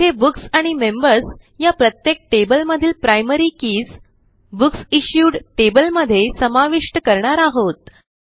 येथे बुक्स आणि मेंबर्स ह्या प्रत्येक टेबलमधील प्रायमरी कीज बुकसिश्यूड टेबल मध्ये समाविष्ट करणार आहोत